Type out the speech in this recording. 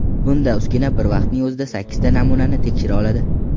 Bunda uskuna bir vaqtning o‘zida sakkizta namunani tekshira oladi.